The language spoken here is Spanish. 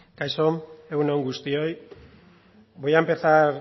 kaixo egun on guztioi voy a empezar